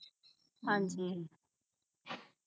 ਹਾਂਜੀ